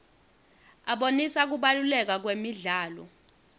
abonisa kubaluleka kwemidlalo